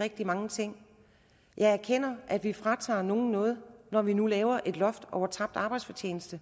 rigtig mange ting jeg erkender at vi fratager nogen noget når vi nu laver et loft over dækningen af tabt arbejdsfortjeneste